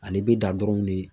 Ale be dan dɔrɔnw de